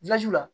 la